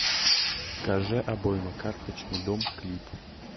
кажэ обойма карточный дом клип